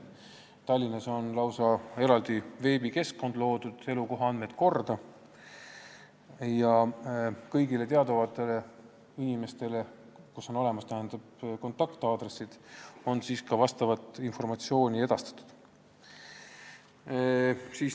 Tallinnas on lausa loodud eraldi veebikeskkond "Elukohaandmed korda" ja kõigile inimestele, kelle kontaktaadressid on teada, on ka vastavat informatsiooni edastatud.